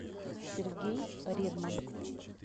сергей редман